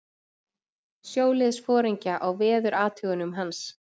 sjóliðsforingja á veðurathugunum hans.